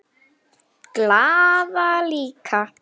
Glaða líka.